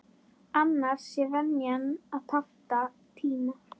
Annars sé venjan að panta tíma.